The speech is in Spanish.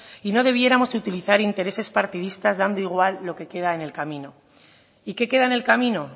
y no debiéramos de utilizar intereses partidistas dando igual lo que queda en el camino y qué queda en el camino